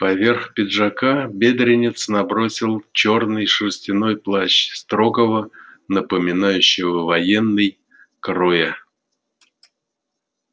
поверх пиджака бедренец набросил чёрный шерстяной плащ строгого напоминающего военный кроя